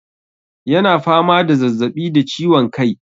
Yana fama da zazzabi da ciwon kai.